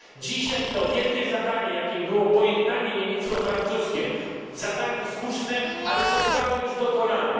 Dzisiaj to wielkie zadanie, jakim było pojednanie niemiecko francuskie zadanie słuszne ale zostało już dokonane.